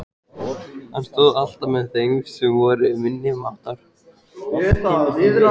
Hann stóð alltaf með þeim sem voru minni máttar.